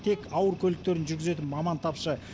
тек ауыр көліктерін жүргізетін маман тапшы